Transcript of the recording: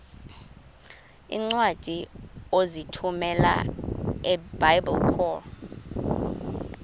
iincwadi ozithumela ebiblecor